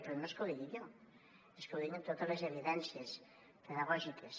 però no és que ho digui jo és que ho diuen totes les evidències pedagògiques